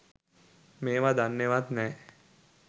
මේවා දන්නෙවත් නැහැ